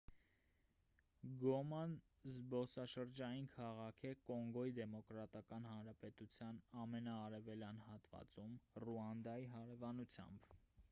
գոման զբոսաշրջային քաղաք է կոնգոյի դեմոկրատական հանրապետության ամենաարևելյան հատվածում ռուանդայի հարևանությամբ